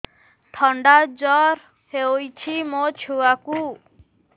ଥଣ୍ଡା ଜର ହେଇଚି ମୋ ଛୁଆକୁ